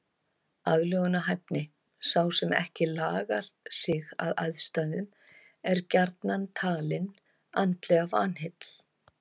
Aðlögunarhæfni Sá sem ekki lagar sig að aðstæðum er gjarnan talinn andlega vanheill.